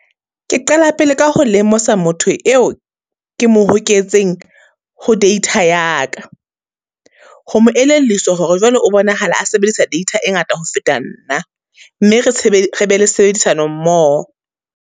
Ke qala pele ka ho lemosa motho eo ke mo hoketseng ho data ya ka. Ho mo elelliswa hore jwale o bonahala a sebedisa data e ngata ho feta nna, mme re re be le sebedisano mmoho.